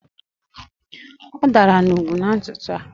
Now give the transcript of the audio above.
Ọ dara n'ugwu n'ụtụtụ a